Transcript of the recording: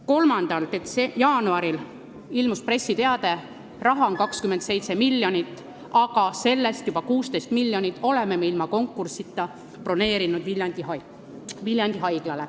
3. jaanuaril avaldati pressiteade, kus oli öeldud, et raha on 27 miljonit, aga sellest 16 miljonit on ilma konkursita juba Viljandi Haiglale planeeritud.